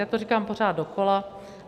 Já to říkám pořád dokola.